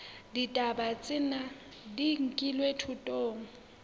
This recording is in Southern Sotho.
ditaba tsena di nkilwe thutong